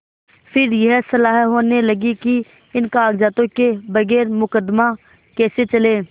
फिर यह सलाह होने लगी कि इन कागजातों के बगैर मुकदमा कैसे चले